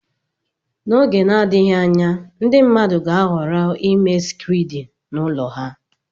N'oge na-adịghị anya ndị mmadụ ga-ahọrọ ịme skriidi ụlọ ha.